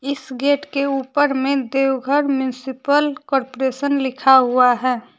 इस गेट के ऊपर में देवघर म्युनिसिपल कॉरपोरेशन लिखा हुआ है।